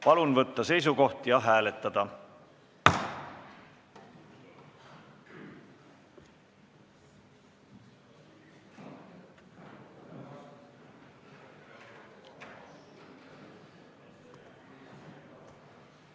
Palun võtta seisukoht ja hääletada!